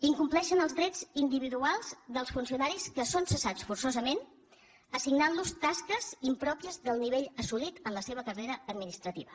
incompleixen els drets individuals dels funcionaris que són cessats forçosament assignant los tasques impròpies del nivell assolit en la seva carrera administrativa